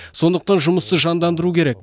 сондықтан жұмысты жандандыру керек